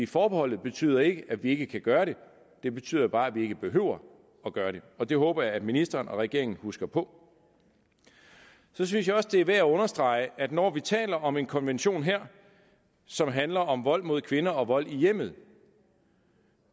forbeholdet betyder ikke at vi ikke kan gøre det det betyder bare at vi ikke behøver at gøre det og det håber jeg at ministeren og regeringen husker på så synes jeg også det er værd at understrege at når vi taler om en konvention her som handler om vold mod kvinder og vold i hjemmet